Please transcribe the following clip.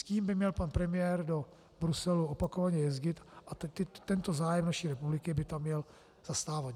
S tím by měl pan premiér do Bruselu opakovaně jezdit a tento zájem naší republiky by tam měl zastávat.